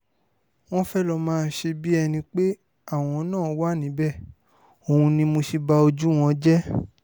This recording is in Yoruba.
wọ́n fẹ́ẹ́ lọ́ọ́ máa ṣe bíi ẹni pé àwọn náà wà níbẹ̀ òun ni mo ṣe ba ojú wọn jẹ́